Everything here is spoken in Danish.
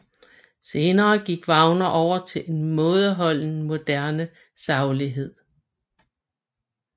Senere gik Wagner over til en mådeholden moderne saglighed